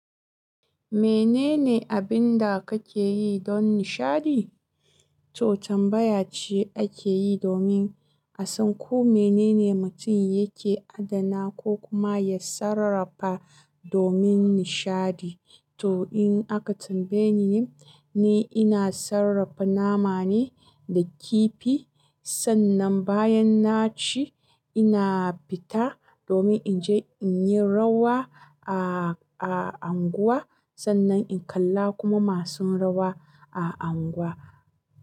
Menene abinda kake yi don nishaɗi? To tambayace ake yi domin a san ko menene mutum yake adana ko kuma ya sarrafa domin nishaɗi. To in aka tambayeni ni, ni ina sarrafa nama ne da kifi. Sannan bayan naci, ina fita domin inje inyi rawa a, a unguwa. Sannan in kalla kuma masu rawa a unguwa.